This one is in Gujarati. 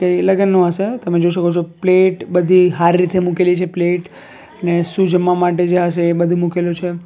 એ લગનનું હશે એ તમે જોઈ શકો છો પ્લેટ બધી હારી રીતે મૂકેલી છે પ્લેટ ને શું જમવા માટે હશે એ બધું મૂકેલું છે.